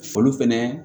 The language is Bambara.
Foli fɛnɛ